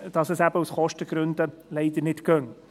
Dass es aus Kostengründen eben nicht gehe.